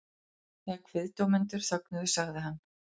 Þegar kviðdómendur þögnuðu sagði hann